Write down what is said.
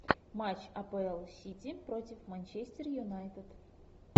матч апл сити против манчестер юнайтед